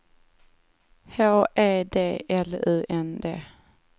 H E D L U N D